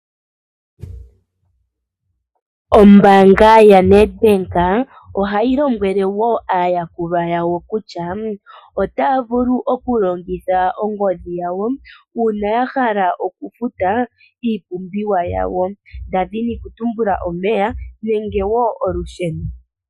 Ombanga ya Nedbank ohayi lombwele woo aayukulwa yawo kutya ota yavulu okulongitha ongodhi yawo uuna yahala okufuta iipumbiwa yawo tadhi ni okutumbula omeya nenge wo olusheno.